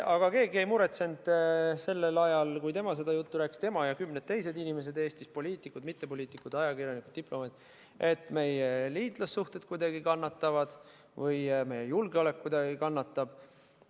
Aga keegi ei muretsenud sellel ajal, kui tema seda juttu rääkis , et meie liitlassuhted kuidagi kannatavad või meie julgeolek kuidagi kannatab.